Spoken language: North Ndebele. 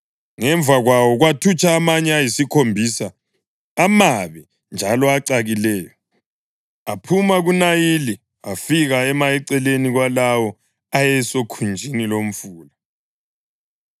Ngemva kwawo kwathutsha amanye ayisikhombisa, amabi njalo acakileyo, aphuma kuNayili afika ema eceleni kwalawo ayesokhunjini lomfula.